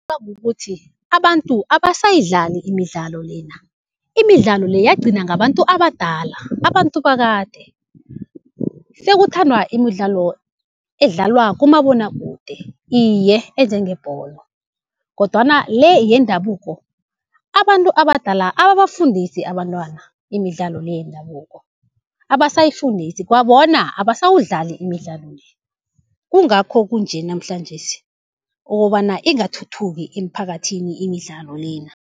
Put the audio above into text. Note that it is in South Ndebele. kukuthi abantu abasayidlali imidlalo lena. Imidlalo le yagcina ngabantu abadala, abantu bakade. Sekuthandwa imidlalo edlalwa kumabonwakude, iye enjengebholo. Kodwana le yendabuko abantu abadala ababafundisi abantwana imidlalo le yendabuko, abasayifundisi kwabona, abasawudlali imidlalo le. Kungakho kunje namhlanjesi, okobana ingathuthuki emphakathini imidlalo lena.